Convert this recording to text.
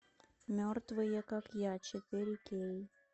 мертвые как я четыре кей